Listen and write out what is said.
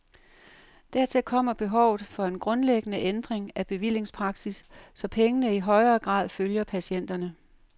Dertil kommer behovet for en grundlæggende ændring af bevillingspraksis, så pengene i højere grad følger patienterne.